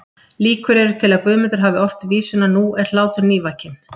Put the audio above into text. Líkur eru til að Guðmundur hafi ort vísuna Nú er hlátur nývakinn